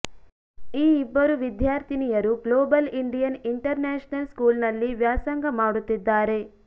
ಈ ಇಬ್ಬರೂ ವಿದ್ಯಾರ್ಥಿನಿಯರೂ ಗ್ಲೋಬಲ್ ಇಂಡಿಯನ್ ಇಂಟರ್ ನ್ಯಾಷನಲ್ ಸ್ಕೂಲ್ನಲ್ಲಿ ವ್ಯಾಸಂಗ ಮಾಡುತ್ತಿದ್ದಾರೆ